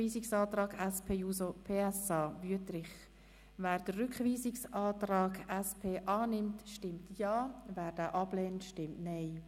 Wer diesen Rückweisungsantrag annimmt, stimmt Ja, wer diesen ablehnt, stimmt Nein.